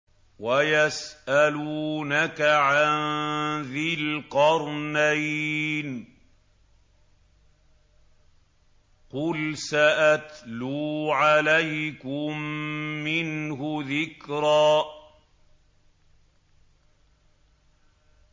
وَيَسْأَلُونَكَ عَن ذِي الْقَرْنَيْنِ ۖ قُلْ سَأَتْلُو عَلَيْكُم مِّنْهُ ذِكْرًا